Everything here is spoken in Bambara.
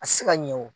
A tɛ se ka ɲɛ o